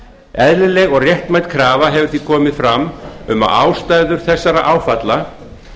eðlileg og réttmæt krafa hefur því komið fram um að ástæður þessara áfalla